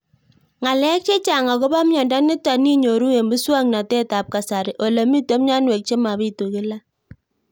Ng'alek chechang' akopo miondo nitok inyoru eng' muswog'natet ab kasari ole mito mianwek che mapitu kila